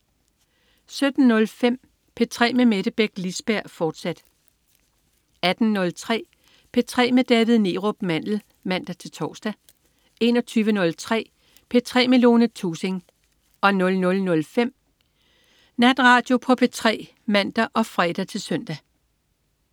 17.05 P3 med Mette Beck Lisberg, fortsat 18.03 P3 med David Neerup Mandel (man-tors) 21.03 P3 med Lone Thusing 00.05 Natradio på P3 (man og fre-søn)